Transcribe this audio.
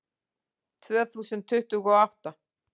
Tvö þúsund tuttugu og átta